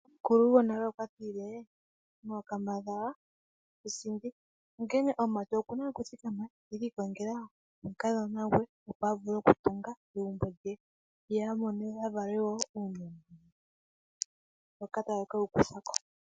Omukulu gonale okwatile waakambadhala kusindi, onkene omumati okuna okuthikama ete kiikongela omukadhona gwe opo avule okutunga egumbo lye, yo yamone wo uunona mboka taye kewukuthako.